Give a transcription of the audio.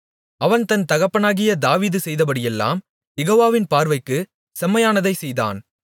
அவன் தன் தகப்பனாகிய தாவீது செய்தபடியெல்லாம் யெகோவாவின் பார்வைக்கு செம்மையானதைச் செய்தான்